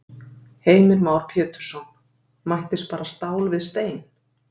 Heimir Már Pétursson: Mættist bara stál við stein?